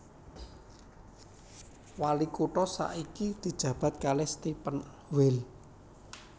Wali kutha saiki dijabat kalih Stephan Weil